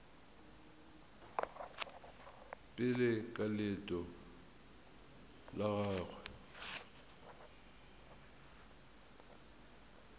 pele ka leeto la gagwe